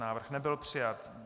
Návrh nebyl přijat.